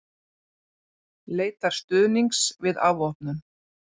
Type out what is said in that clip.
Leitar stuðnings við afvopnun